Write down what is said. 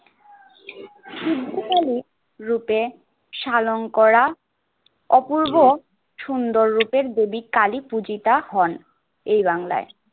রূপে শালংকরা অপূর্ব সুন্দর রূপের কবি কালী পুঁতিতা হন এই বাঙলায়।